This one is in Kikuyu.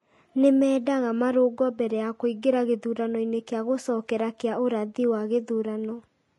Nĩ meendaga marũngũo mbere ya kũingĩra gĩthurano-inĩ kĩa gũcokera kĩa ũrathi wa gĩthurano,